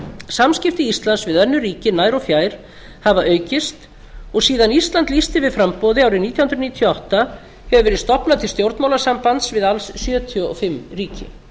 samskipti íslands við önnur ríki nær og fjær hafa aukist og síðan ísland lýsti yfir framboði árið nítján hundruð níutíu og átta hefur verið stofnað til stjórnmálasambands við alls sjötíu og fimm ríki